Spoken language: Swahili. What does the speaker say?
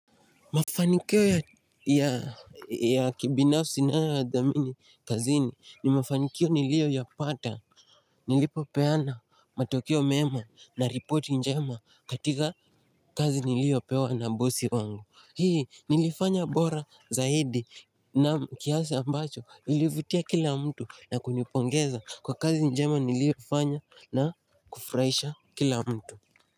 Mafanikio ya kibinafsi na ya dhamini kazini ni mafanikio nilio ya pata Nilipopeana matokeo mema na report njema katika kazi nilio pewa na bosi wangu Hii nilifanya bora zaidi na kiasi ambacho ilivutia kila mtu na kunipongeza kwa kazi njema niliofanya na kufraisha kila mtu.